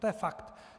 To je fakt.